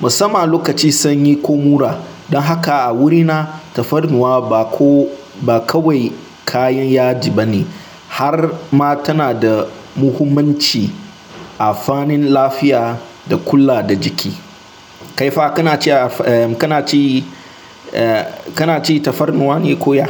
musamman lokacin sanyi ko mura. Don haka a wurina tafarnuwa ba kawai kayan yaji ba ne har ma tana da muhimmanci a fannin lafiya da kula da jiki. Kaifa kana ci tafarnuwa ne ko ya?